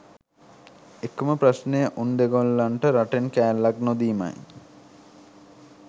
එකම ප්‍රශ්නය උන් දෙගොල්ලන්ට රටෙන් කෑල්ලක් නොදීමයි